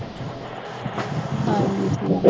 ਹਾਂਜੀ